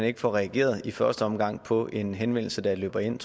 ikke får reageret i første omgang på en henvendelse der løber ind